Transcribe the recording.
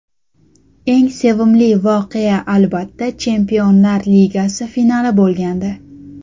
Eng sevimli voqea albatta, Chempionlar Ligasi finali bo‘lgandi.